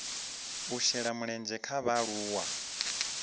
u shela mulenzhe ha vhaaluwa